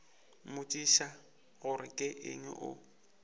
mmotšiša gore ke eng o